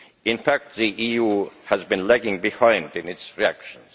In fact, the EU has been lagging behind in its reactions.